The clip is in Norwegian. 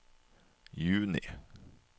juni